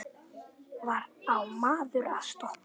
Hvar á maður að stoppa?